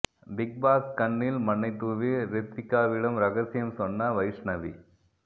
big Boss கண்ணில் மண்ணைத் தூவி ரித்விகாவிடம் ரகசியம் சொன்ன வைஷ்ணவி